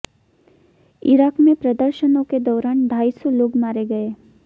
Iraq में प्रदर्शनों के दौरान ढाई सौ लोग मारे गए